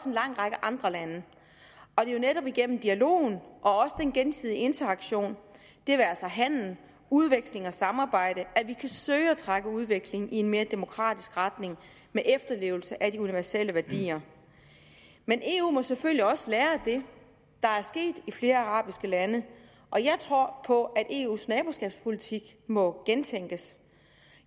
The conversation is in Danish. en lang række andre lande det er jo netop igennem dialogen og den gensidige interaktion det være sig handel udveksling og samarbejde at vi kan søge at trække udviklingen i en mere demokratisk retning med efterlevelse af de universielle værdier men eu må selvfølgelig også lære af det der er sket i flere arabiske lande og jeg tror på at eus naboskabspolitik må gentænkes